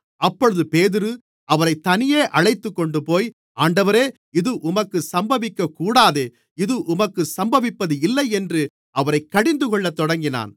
அப்பொழுது பேதுரு அவரைத் தனியே அழைத்துக்கொண்டுபோய் ஆண்டவரே இது உமக்கு சம்பவிக்கக்கூடாதே இது உமக்குச் சம்பவிப்பதில்லை என்று அவரைக் கடிந்துகொள்ளத்தொடங்கினான்